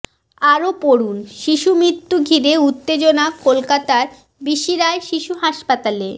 আরও পড়ুন শিশু মৃত্যু ঘিরে উত্তেজনা কলকাতার বিসি রায় শিশু হাসপাতালে